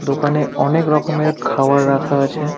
দোকানে অনেক রকমের খাওয়ার রাখা আছে।